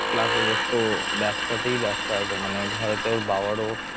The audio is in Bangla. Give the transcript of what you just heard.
plus ওদের তো ব্যবসাতেই ব্যবসা আছে, মানে ঘরেতে ওর বাবারও